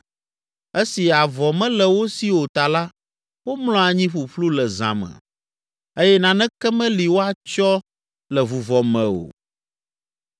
Esi avɔ mele wo si o ta la womlɔ anyi ƒuƒlu le zã me eye naneke meli woatsyɔ le vuvɔ me o.